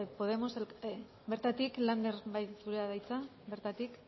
podemos bertatik lander bai zurea da hitza bertatik